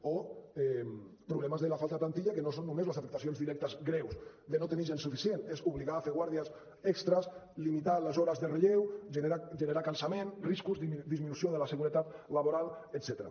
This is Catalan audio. o problemes de la falta de plantilla que no són només les afectacions directes greus de no tenir gent suficient és obligar a fer guàrdies extres limitar les hores de relleu generar cansament riscos disminució de la seguretat laboral etcètera